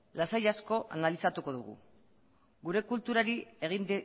lasai asko analizatuko dugu gure kulturari egin